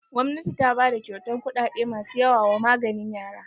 Gwamnati ta bada kyautan kuɗaɗe masu yawa wa maganin yara.